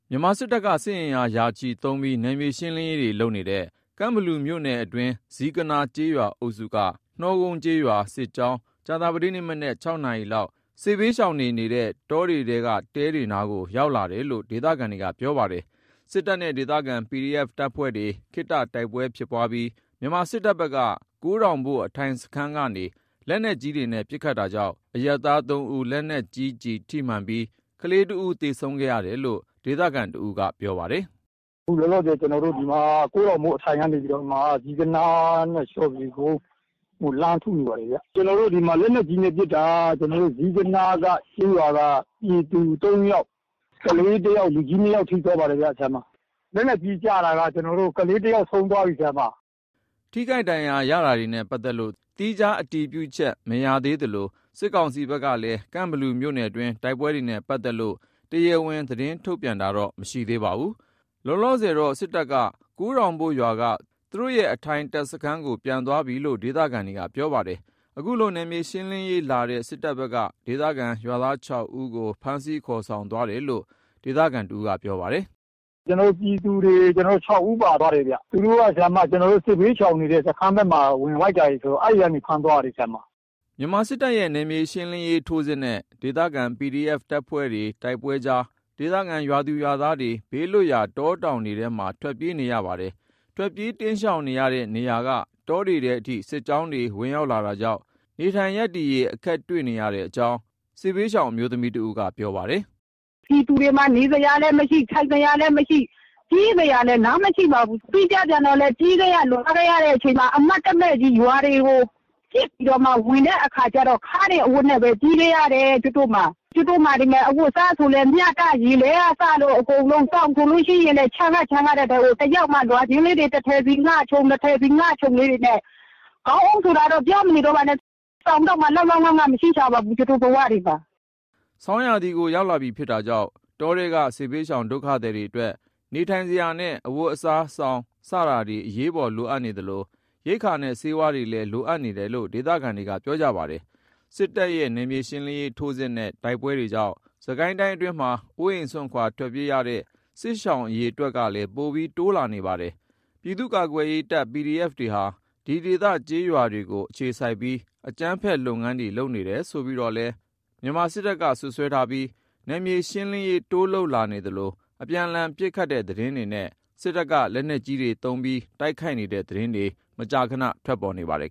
မြန်မာစစ်တပ်က စစ်အင်အား ရာချီသုံးပြီး နယ်မြေရှင်းလင်းရေးတွေ လုပ်နေတဲ့ ကန့်ဘလူမြို့နယ်အတွင်း ဇီးကနား ကျေးရွာအုပ်စုက နှောကုန်း ကျေးရွာ စစ်ကြောင်း ကြာသပတေးနေ့မနက် ၆ နာရီလောက် စစ်ဘေးရှောင်တွေ နေနေတဲ့တောင်ထဲက တဲတွေနားကို ရောက်လာတာလို့ ဒေသခံတွေက ပြောပါတယ်။ စစ်တပ်နဲ့ ဒေသခံ PDF တပ်ဖွဲ့တွေ ခတ္တ တိုက်ပွဲဖြစ်ပွားပြီး မြန်မာစစ်တပ်ဖက်က ကိုးတောင်ဘို့ အထိုင်စခန်းကနေ လက်နက်ကြီးတွေနဲ့ ပစ်ခတ်တာကြောင့် အရပ်သား ၃ ဦး လက်နက်ကြီး ထိမှန်ပြီး ကလေးတစ်ဦး သေဆုံးခဲ့တယ်လို့ ဒေသခံတစ်ဦးက ခုလိုပြောပြပါတယ်။ “အခုလောလောဆယ် ကျွန်တော်တို့ ဒီမှာ ကိုးထောင်ဘို့အထိုင်က နေပြိးတော့မှ ဇီးကနားနဲ့ လျော်ဖြူကုန်းကို (လက်နက်ကြီး) လှမ်းထုနေပါတယ်ဗျ။ ကျွန်တော်တို့ ဒီမှာ လက်နက်ကြီးနဲ့ ပစ်တာ ကျွန်တော်တို့ ဇီးကနားက ကျေးရွာက ပြည်သူ ၃ ယောက်၊ ကလေးတစ်ယောက် လူကြီး ၂ ယောက် ထိသွားပါတယ်ဗျ။ လက်နက်ကြီးကျတာက အခု ခလေးတစ်ယောက် ဆုံးသွားပြီဗျ။” ထိခိုက် ဒဏ်ရာရတာတွေနဲ့ ပတ်သက်လို့ သီးခြား အတည်ပြုချက် မရသေးသလို စစ်ကောင်စီဘက်ကလည်း ကန့်ဘလူမြို့နယ်တွင်း တိုက်ပွဲတွေနဲ့ ပတ်သက်လို့ တရားဝင် သတင်းထုတ်ပြန်တာတော့ မရှိသေးပါဘူး။ လောလောဆယ်တော့ စစ်တပ်က ကိုးထောင်ဘို့ရွာက သူတို့ရဲ့ အထိုင်တပ်စခန်းကို ပြန်သွားပြီလို့ ဒေသခံတွေက ပြောပါတယ်။ ခုလို နယ်မြေရှင်းလင်းရေးလာတဲ့ စစ်တပ်ဘက်က ဒေသခံရွာသား ၆ ဦးကို ဖမ်းဆီးခေါ်ဆောင်သွားတယ်လို့ ဒေသခံ တစ်ဦးက ပြောပါတယ်။ “ကျွန်တော်တို့ ပြည်သူတွေ ၆ ဦးပါသွားတယ်ဗျ။ သူတို့က ကျွန်တော်တို့ စစ်ဘေးရှောင်နေတဲ့ စခန်းဖက်မှာ ဝင် တိုက်တာတွေ ဆိုတော့ အဲ့ဖက်ကနေ ဖမ်းသွားတာတွေပါဗျ။” မြန်မာစစ်တပ်ရဲ့ နယ်မြေရှင်းလင်းရေး ထိုးစစ်နဲ့ ဒေသခံ PDF အဖွဲ့တွေနဲ့ တိုက်ပွဲတွေအကြား ဒေသခံ ကျေးရွာသူ ကျေးရွာသားတွေ ဘေးလွတ်ရာ တောတောင်တွေထဲမှာ ထွက်ပြေးနေကြရပါတယ်။ ထွက်ပြေးတိမ်းရှောင်နေတဲ့ နေရာက တောတွေထဲအထိ စစ်ကြောင်းတွေ ဝင်လာတာကြောင့် နေထိုင်ရပ်တည်ရေး အခက်တွေ့နေရတဲ့အကြောင်း စစ်ရှောင် အမျိုးသမီးတဦးက ပြောပါတယ်။ “ပြည်သူတွေမှာ နေစရာလည်းမရှိ ထိုင်စရာလည်းမရှိ၊ ပြေးစရာလည်း လမ်းမရှိပါဘူး။ ပြီးတော့လည်း ပြေးခဲ့ရ လွှားခဲ့ရတဲ့ အချိန်မှာ အမှတ်တမဲ့ကြီး ရွာတွေကို ပစ်ပြီးတော့မှ ဝင်တဲ့အခါကျတော့ ခါးနေအဝတ်နဲ့ပဲ ပြေးခဲ့ရတယ် ကျုပ်တို့မှာ။ ကျုပ်တို့မှာ ဒီမယ် အဝတ်အစား ဆိုလည်း မျှတပြီး ရေလဲကစလို့ အကုန်လုံး။ စောင်ဆိုလို့ရှိရင်လည်း ချမ်းကချမ်းနဲ့ ချမ်းရတဲ့အထဲ လွှာချင်းလေးတွေ တစ်ထည်စီ ငှခြုံ၊ နှစ်ထည်စီ ငှခြုံလေးတွေနဲ့ ခေါင်းအုံးဆိုတာတော့ ပြောမနေတော့ပါနဲ့ စောင်တောင်မှ လောက်လောက်ငှငှ မရှိရှာပါဘူး ကျုပ်တို့ဘဝတွေမှာ။” ဆောင်းရာသီကို ရောက်လာပြီ ဖြစ်တာကြောင့် တောထဲက စစ်ဘေးရှောင် ဒုက္ခသည်တွေအတွက် နေထိုင်စရာနဲ့ အဝတ်အစား၊ စောင် စတာတွေ အရေးပေါ် လိုအပ်နေသလို ရိက္ခာနဲ့ ဆေးဝါးတွေလည်း လိုအပ်နေတယ်လို့ ဒေသခံတွေက ပြောကြပါတယ်။ စစ်တပ်ရဲ့ နယ်မြေရှင်းလင်းရေး ထိုးစစ်နဲ့ တိုက်ပွဲတွေကြောင့် စစ်ကိုင်းတိုင်းအတွင်းမှာ အိုးအိမ်စွန့်ခွာ ထွက်ပြေးနေရတဲ့ စစ်ရှောင် အရေအတွက်ကလည်း ပိုပြီး တိုးလာနေပါတယ်။ ပြည်သူ့ကာကွယ်ရေးတပ် PDF တွေဟာ ဒီဒေသ ကျေးရွာတွေကို အခြေစိုက်ပြီး အကြမ်းဖက် လုပ်ငန်းတွေ လုပ်နေတယ်ဆိုပြီးတော့လည်း မြန်မာစစ်တပ်က စွပ်စွဲထားပြီး နယ်မြေရှင်းလင်းရေး တိုးလုပ် လာနေသလို အပြန်အလှန် ပစ်ခတ်တဲ့ သတင်းတွေနဲ့ စစ်တပ်က လက်နက်ကြီးတွေသုံး တိုက်ခိုက်တဲ့သတင်းတွေ မကြာခန ထွက်ပေါ်နေပါတယ်